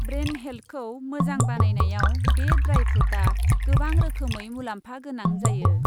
Brain हेल्थखौ मोजां बानायनायाव बे ड्राइ फ्रुटआ गोबां रोखोमै मुलाम्फा गोनां जायो।